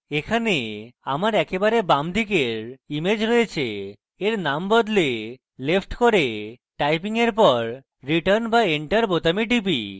এখানে আমার একেবারে বামদিকের image রয়েছে তাই এর নাম বদলে left করে typing এর পর return/enter বোতামে টিপি